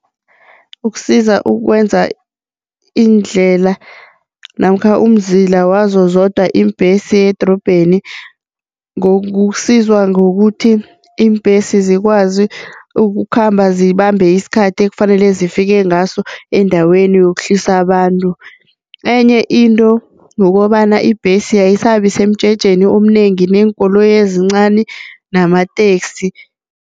Ukusiza ukwenza indlela namkha umzila wazo zodwa iimbhesi yedrobheni kusiza ngokuthi iimbhesi zikwazi ukukhamba zibambe isikhathi ekufanele zifike ngaso endaweni yokuhlisa abantu, enye into, ngokobana ibhesi ayisabi semjejeni omnengi neenkoloyi ezincani namateksi.